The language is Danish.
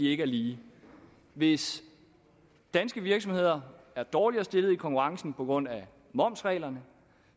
ikke er lige hvis danske virksomheder er dårligere stillet i konkurrencen på grund af momsreglerne